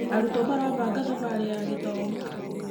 Arutwo marabanga thabarĩ ya gĩthomo.